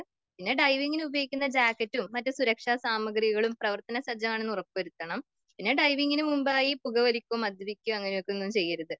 പിന്നെ ഡൈവിങിന് ഉപയോഗിക്കുന്ന ജാക്കറ്റും മറ്റു സുരക്ഷാ സാമഗ്രികളും പ്രവർത്തന സജ്ജമാണെന്ന് ഉറപ്പുവരുത്തണം.പിന്നെ ഡൈവിങിന് മുൻമ്പായി പുകവലിക്കോ മദ്യപിക്കോ അങ്ങനത്തെയൊന്നും ചെയ്യരുത്.